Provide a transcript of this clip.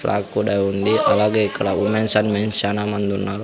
Track కూడా ఉంది అలాగే ఇక్కడ ఉమెన్స్ అండ్ మెన్స్ శానా మందున్నారు.